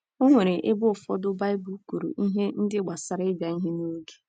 O nwere ebe ụfọdụ Baịbụl kwuru ihe ndị gbasara ịbịa ihe n’oge.